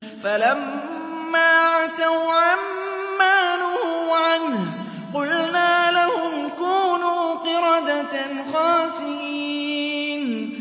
فَلَمَّا عَتَوْا عَن مَّا نُهُوا عَنْهُ قُلْنَا لَهُمْ كُونُوا قِرَدَةً خَاسِئِينَ